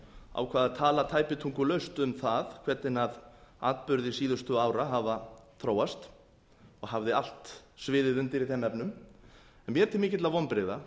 að tala tæpitungulaust um það hvernig atburðir síðustu ára hafa þróast og hafði allt sviðið undir í þeim efnum mér til mikilla vonbrigða